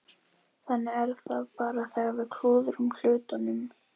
Þannig er það bara þegar við klúðrum hlutunum.